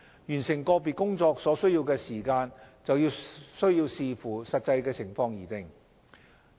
完成個別工作所需要的時間則需視乎實際情況而定。